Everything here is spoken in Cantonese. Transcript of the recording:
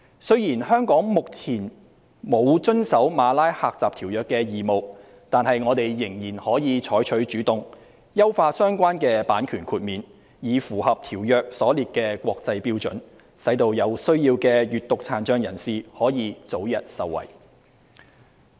雖然香港目前沒有遵守《馬拉喀什條約》的義務，但我們仍可採取主動，優化相關的版權豁免，以符合《馬拉喀什條約》所列的國際標準，使有需要的閱讀殘障人士可以早日受惠。